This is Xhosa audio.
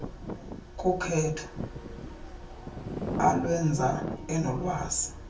kukhetho alwenza enolwazi